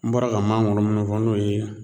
N bɔra ka maŋoro minnu fɔ n'o ye